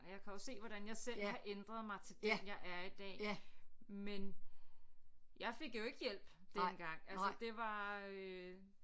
Og jeg kan også se hvordan jeg selv har ændret mig til den jeg er i dag men jeg fik jo ikke hjælp dengang altså det var øh